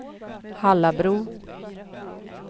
Hallabro